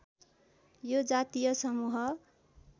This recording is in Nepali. यो जातीय समूह